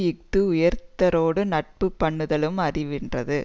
இஃது உயர்ந்தாரோடு நட்பு பண்ணுதலும் அறிவென்றது